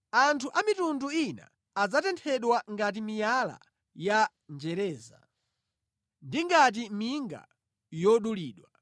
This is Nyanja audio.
Anthu a mitundu ina adzatenthedwa ngati miyala ya njereza; ndi ngati minga yodulidwa.”